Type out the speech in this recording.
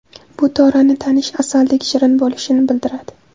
Bu Torani tanish asaldek shirin bo‘lishini bildiradi.